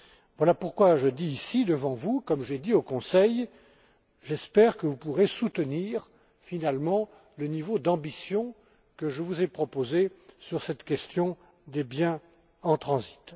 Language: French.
Voilà pourquoi je répète ici devant vous ce que j'ai dit au Conseil j'espère que vous pourrez soutenir, finalement, le niveau d'ambition que je vous ai proposé sur cette question des biens en transit.